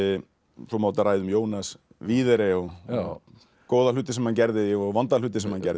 svo má auðvitað ræða um Jónas videre og góða hluti sem hann gerði og vonda hluti sem hann gerði